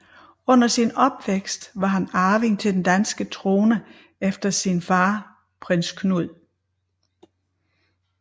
Under sin opvækst var han arving til den danske trone efter sin far Prins Knud